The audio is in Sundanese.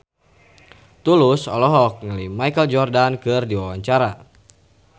Tulus olohok ningali Michael Jordan keur diwawancara